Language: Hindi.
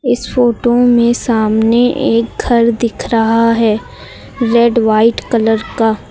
इस फोटो में सामने एक घर दिख रहा है। रेड व्हाइट कलर का।